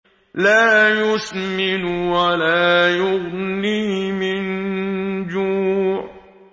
لَّا يُسْمِنُ وَلَا يُغْنِي مِن جُوعٍ